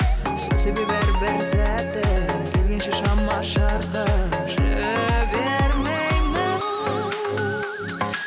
сол себебі әрбір сәтті келгенше шама шарқым жібермеймін